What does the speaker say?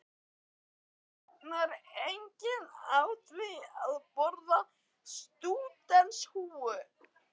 Það fitnar enginn á því að borða stúdentshúfur!